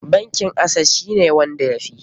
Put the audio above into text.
Bankin acess shi ne wanda ya fi?